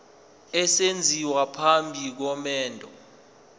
esenziwa phambi komendo